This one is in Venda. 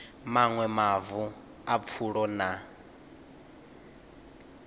maṅwe mavu a pfulo na